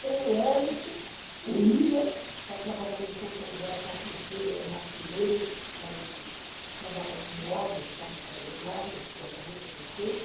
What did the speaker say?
Tem o Elisso, o Willam, que está trabalhando em Santo André, é carpinteiro, é macineiro, sabe trabalhar com móveis, sabe fazer móveis, guarda-roupa, essas coisa.